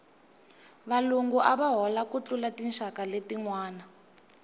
valungu ava hola ku tlula tinxaka letinwana